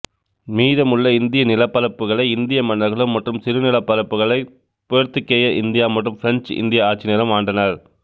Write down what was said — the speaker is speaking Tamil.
மீதமுள்ள இந்திய நிலப்பரப்புகளை இந்திய மன்னர்களும் மற்றும் சிறு நிலப்பரப்புகளை போர்த்துகேய இந்தியா மற்றும் பிரஞ்சு இந்திய ஆட்சினரும் ஆண்டனர்